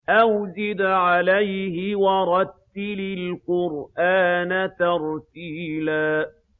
أَوْ زِدْ عَلَيْهِ وَرَتِّلِ الْقُرْآنَ تَرْتِيلًا